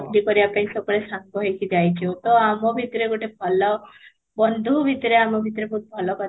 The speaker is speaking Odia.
ବୁଲି କରିବା ପାଇଁ ସବୁବେଳେ ସାଙ୍ଗ ହେଇକି ଯାଇଛୁ ତ ଆମ ଭିତରେ ଗୋଟେ ଭଲ, ବନ୍ଧୁ ଭିତରେ ଆମ ଭିତରେ ବହୁତ ଭଲ